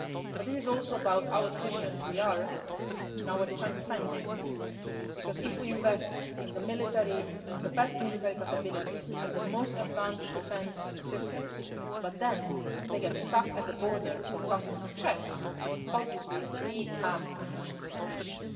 But this is also about how efficient we are in our defence spending, because if we invest in the best military capabilities and the most advanced defence systems, but then they get stuck at the border for customs checks, obviously we have an efficiency issue.